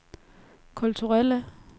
kulturelle